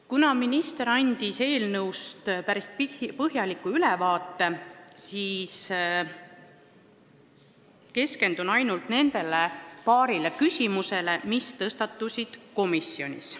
Kuna minister andis eelnõust päris põhjaliku ülevaate, siis keskendun ma ainult paarile küsimusele, mis komisjonis tõstatusid.